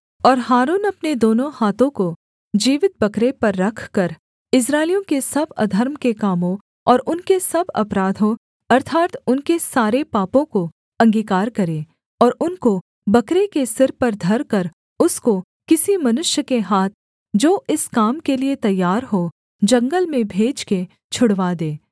और हारून अपने दोनों हाथों को जीवित बकरे पर रखकर इस्राएलियों के सब अधर्म के कामों और उनके सब अपराधों अर्थात् उनके सारे पापों को अंगीकार करे और उनको बकरे के सिर पर धरकर उसको किसी मनुष्य के हाथ जो इस काम के लिये तैयार हो जंगल में भेजकर छुड़वा दे